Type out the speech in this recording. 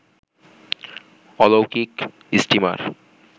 অলৌকিক ইস্টিমার